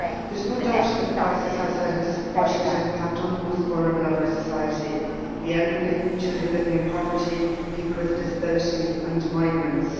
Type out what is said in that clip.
There is no doubt that the crisis has had a disproportionate impact on the most vulnerable of our society, the elderly, children living in poverty, people with a disability and migrants.